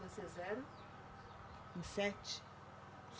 Vocês eram em sete?